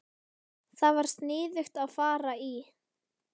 Það var sniðugt að fara í